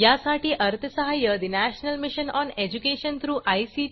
यासाठी अर्थसहाय्य national mission on education through I